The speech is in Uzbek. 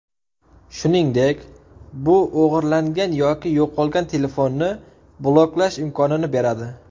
Shuningdek, bu o‘g‘irlangan yoki yo‘qolgan telefonni bloklash imkonini beradi.